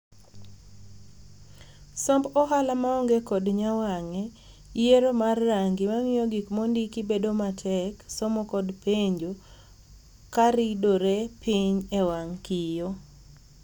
Somb ohala maonge kod nyawang'e, yiero mar rangi mamiyo gik mondiki bedo matek somo kod penjo karidore piny ewang' kiyoo.